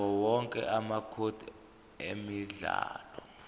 yawowonke amacode emidlalo